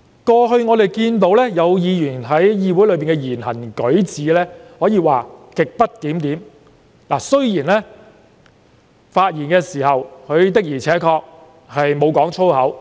據我們過去所見，有議員在議會內的言行舉止可謂極不檢點，雖然在發言時的確沒有講粗口，